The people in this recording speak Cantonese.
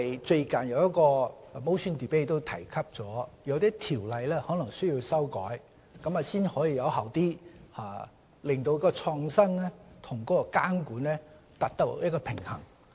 最近有一項議案辯論提及某些條例可能需要修改，才能有效地在創新與監管之間達致平衡。